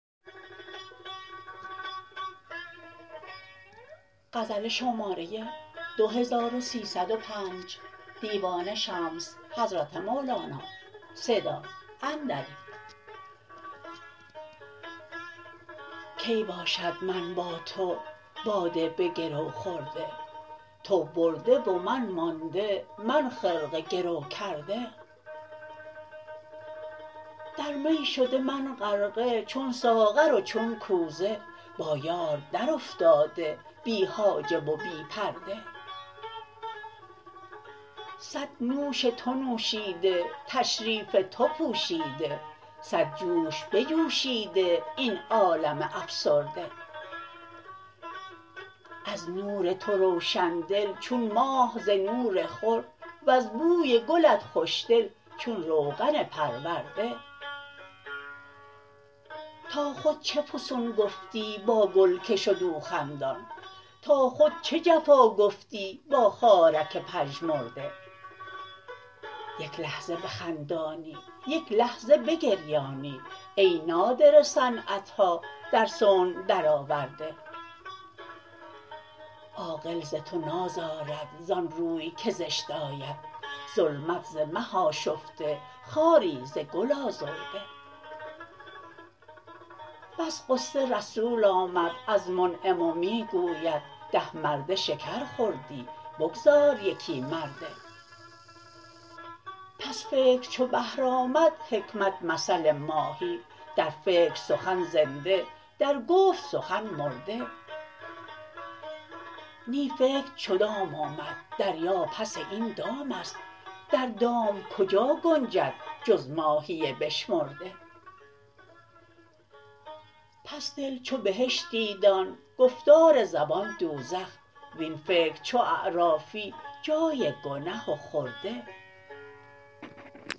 کی باشد من با تو باده به گرو خورده تو برده و من مانده من خرقه گرو کرده در می شده من غرقه چون ساغر و چون کوزه با یار درافتاده بی حاجب و بی پرده صد نوش تو نوشیده تشریف تو پوشیده صد جوش بجوشیده این عالم افسرده از نور تو روشن دل چون ماه ز نور خور وز بوی گلت خوشدل چون روغن پرورده تا خود چه فسون گفتی با گل که شد او خندان تا خود چه جفا گفتی با خارک پژمرده یک لحظه بخندانی یک لحظه بگریانی ای نادره صنعت ها در صنع درآورده عاقل ز تو نازارد زان روی که زشت آید ظلمت ز مه آشفته خاری ز گل آزرده بس غصه رسول آمد از منعم و می گوید ده مرده شکر خوردی بگذار یکی مرده پس فکر چو بحر آمد حکمت مثل ماهی در فکر سخن زنده در گفت سخن مرده نی فکر چو دام آمد دریا پس این دام است در دام کجا گنجد جز ماهی بشمرده پس دل چو بهشتی دان گفتار زبان دوزخ وین فکر چو اعرافی جای گنه و خرده